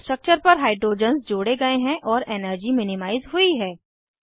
structure पर hydrogens जोड़े गए हैं और एनर्जी मिनिमाइज़ हुई है